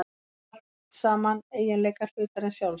Þetta eru allt saman eiginleikar hlutarins sjálfs.